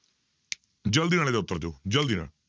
ਜ਼ਲਦੀ ਨਾਲ ਇਹਦਾ ਉੱਤਰ ਦਿਓ ਜ਼ਲਦੀ ਨਾਲ।